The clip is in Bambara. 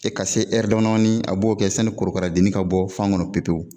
Se ka se damadɔnin a b'o kɛ sani korokaradennin ka bɔ fan kɔnɔ pewu pewu